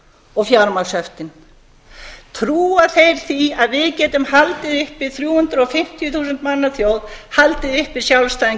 og fjármagnshöftin trúa þeir því að við getum haldið uppi þrjú hundruð og tuttugu þúsund manna þjóð haldið uppi sjálfstæðum